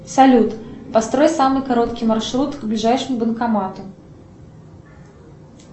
салют построй самый короткий маршрут к ближайшему банкомату